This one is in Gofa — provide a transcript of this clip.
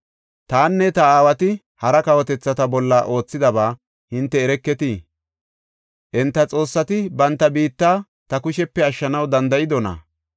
“Tanne ta aawati hara kawotethata bolla oothidaba hinte ereketii? Enta xoossati banta biitta ta kushepe ashshanaw danda7idonaa?